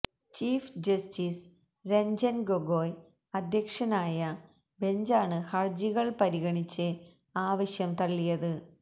chief justice Ranjan Gogoi അദ്ധ്യക്ഷനായ ബെഞ്ചാണ് ഹര്ജികള് പരിഗണിച്ച് ആവശ്യം തള്ളിയത്